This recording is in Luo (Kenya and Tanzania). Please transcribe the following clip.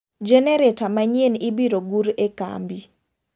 Genereta manyien ibiro gur e kambi.